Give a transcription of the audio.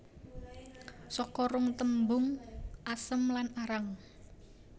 Saka rong tembung asem lan arang